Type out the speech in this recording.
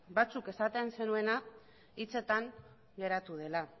batzuek esaten zenuena hitzetan geratu dela